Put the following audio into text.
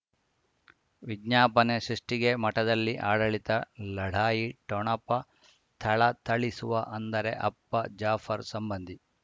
ವಿಜ್ಞಾಪನೆ ಸೃಷ್ಟಿಗೆ ಮಠದಲ್ಲಿ ಆಡಳಿತ ಲಢಾಯಿ ಠೊಣಪ ಥಳಥಳಿಸುವ ಅಂದರೆ ಅಪ್ಪ ಜಾಫರ್ ಸಂಬಂಧಿ